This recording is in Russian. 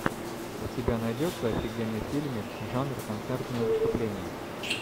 у тебя найдется офигенный фильмик жанр концертное выступление